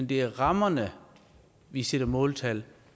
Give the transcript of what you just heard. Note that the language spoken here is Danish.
det er rammerne vi sætter måltal